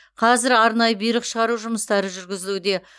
қазір арнайы бұйрық шығару жұмыстары жүргізілуде